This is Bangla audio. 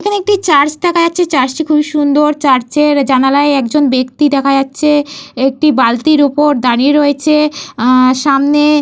এইখানে একটি চার্চ দেখা যাচ্ছে। চার্চটি খুবই সুন্দর। চার্চের জানালায় একজন ব্যক্তি দেখা যাচ্ছে। একটি বালতির ওপর দাঁড়িয়ে রয়েছে। আ সামনে--